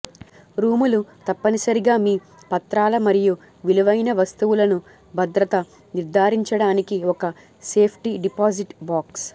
రూములు తప్పనిసరిగా మీ పత్రాలు మరియు విలువైన వస్తువులను భద్రత నిర్ధారించడానికి ఒక సేఫ్టీ డిపాజిట్ బాక్స్